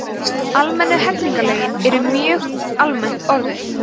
almennu hegningarlögin eru mjög almennt orðuð